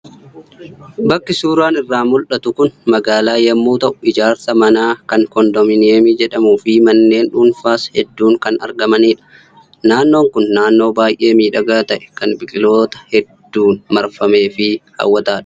Bakki suuraa irraa mul'atu kun magaalaa yommuu ta'u ijaarsaa manaa kan koondoominiyeemii jedhamuu fi manneen dhuunfaas hedduun kan argamanidha. Naannoon kun naannoo baay'ee miidhagaa ta'e, kan biqiloota hedduun marfamee fi hawwataadha.